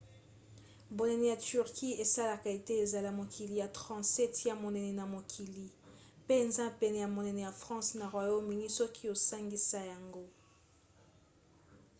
bonene ya turquie esalaka ete ezala mokili ya 37 ya monene na mokili; mpe eza pene ya monene ya france na royaume-uni soki osangisai yango